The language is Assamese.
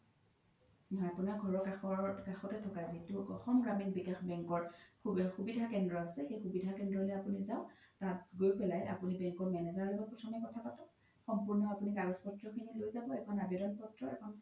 হয় আপোনাৰ ঘৰৰ খাতে থকা যোনতো অসম গ্ৰামীণ বিকাশ বেংকৰ যিতো সুবিধা কেন্দ্ৰ আছে সেই সুবিধা কেন্দ্ৰলই আপোনি যাওক তাত গৈ পেলাই আপোনি bank ৰ manager ৰ লগ্ত প্ৰথমে কথা পাতক সম্পুৰ্ন আপোনি কাগজ পত্ৰ খিনি আপোনি লৈ যাব এখন আবেদন পত্ৰ এখন